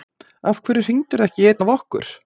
Af hverju hringdirðu ekki í einn af okkur?